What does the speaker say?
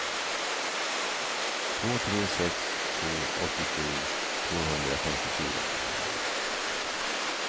två tre sex två åttiosju tvåhundrafemtiofyra